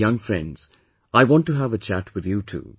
Young friends, I want to have a chat with you too